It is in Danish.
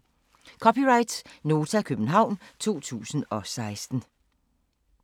(c) Nota, København 2016